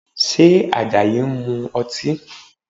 Ṣé Àjàyí ń mu ọtí?